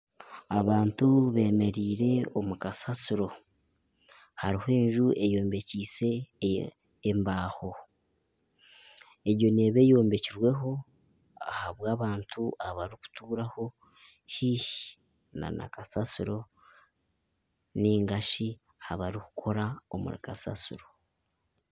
Abantu beemereire omu kasasiro harimu enju eyombekise embaho, egyo neeba eyombekirweho ahabw'abantu abarikuturaho haihi nana kasasiro ninga shi abarikukora omuri kasasiro